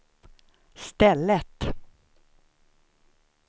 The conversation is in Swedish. stället